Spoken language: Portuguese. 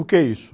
O que é isso?